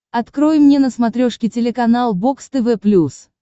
открой мне на смотрешке телеканал бокс тв плюс